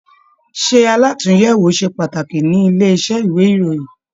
Ṣe àlatúnyẹwò ṣe pàtàkì nílé iṣẹ ìwé ìròyìn?